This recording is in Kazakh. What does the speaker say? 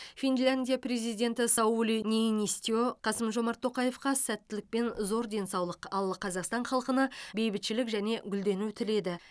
финляндия президенті саули ниинисте қасым жомарт тоқаевқа сәттілік пен зор денсаулық ал қазақстан халқына бейбітшілік және гүлдену тіледі